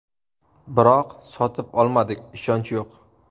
Biroq sotib olmadik, ishonch yo‘q.